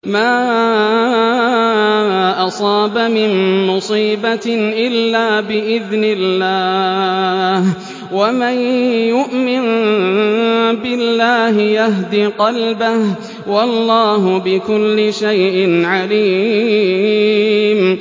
مَا أَصَابَ مِن مُّصِيبَةٍ إِلَّا بِإِذْنِ اللَّهِ ۗ وَمَن يُؤْمِن بِاللَّهِ يَهْدِ قَلْبَهُ ۚ وَاللَّهُ بِكُلِّ شَيْءٍ عَلِيمٌ